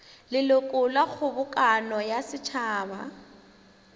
leloko la kgobokano ya setšhaba